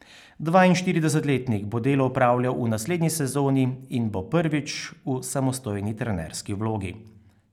Dvainštiridesetletnik bo delo opravljal v naslednji sezoni in bo prvič v samostojni trenerski vlogi.